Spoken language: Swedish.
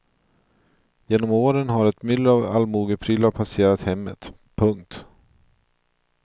Genom åren har ett myller av allmogeprylar passerat hemmet. punkt